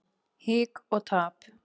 Hik og tap.